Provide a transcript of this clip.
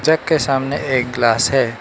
जग के सामने एक गिलास है।